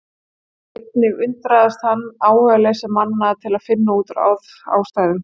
Einnig undraðist hann áhugaleysi manna til að finna út úr ástæðum þessa.